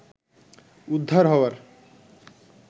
উদ্ধার হওয়ার